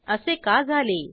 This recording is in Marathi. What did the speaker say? असे का झाले